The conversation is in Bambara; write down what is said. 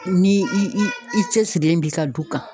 Ni i i cɛsirilen bi ka du kan